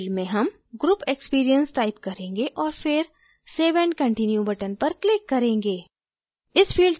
label field में हम group experience type करेंगे और फिर save and continue button पर click करेंगे